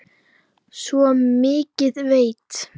Svo mikið veit